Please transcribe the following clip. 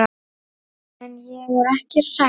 En ég er ekki hrædd.